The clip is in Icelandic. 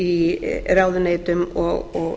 í ráðuneytum og